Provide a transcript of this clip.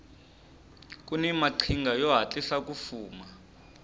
kuni maqhinga yo hatlisa ku fuma